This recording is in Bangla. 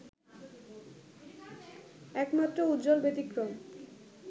একমাত্র উজ্জ্বল ব্যতিক্রম